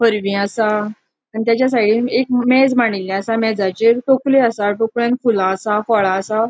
पोरवी असा आणि ताचा साइडीन एक मेज माडीले असा मेजाचेर टोकिरी असा टोक्रिन फूला असा फळा असा.